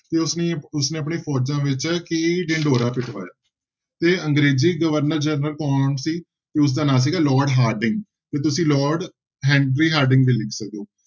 ਤੇ ਉਸਨੇ ਉਸਨੇ ਆਪਣੀ ਫੋਜ਼ਾਂ ਵਿੱਚ ਕੀ ਢਿਡੋਰਾ ਪਿਟਵਾਇਆ ਤੇ ਅੰਗਰੇਜ਼ੀ ਗਵਰਨਰ ਜਨਰਲ ਕੌਣ ਸੀ, ਉਸਦਾ ਨਾਂ ਸੀਗਾ ਲਾਰਡ ਹਾਰਡਿੰਗ ਤੇ ਤੁਸੀਂ ਲਾਰਡ ਹੈਨਰੀ ਹਾਰਡਿੰਗ ਵੀ ਲਿਖ ਸਕਦੇ ਹੋ।